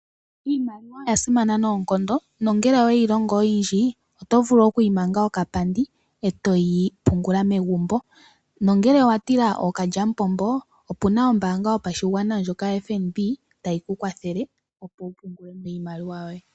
Iimaliwa oya simana noonkondo nongele owe yi longo oyindji, oto vulu okuyi manga okapandi e toyi pungula megumbo. Ngele owa tila ookalyamupombo, opu na ombaanga yopashigwana ndjoka yoFNB tayi ku kwathele, opo wu pungule mo iimaliwa yoye.